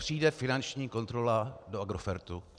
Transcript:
Přijde finanční kontrola do Agrofertu.